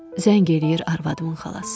Zəng eləyir arvadımın xalası.